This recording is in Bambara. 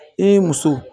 I muso